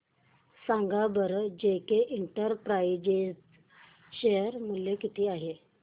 सांगा बरं JK Enterprises share मूल्य किती आहे